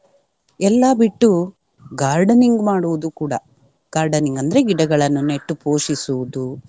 ಎಲ್ಲಾ ಬಿಟ್ಟು gardening ಮಾಡುವುದು ಕೂಡ. Gardening ಅಂದ್ರೆ ಗಿಡಗಳನ್ನು ನೆಟ್ಟು ಪೋಷಿಸುವುದು.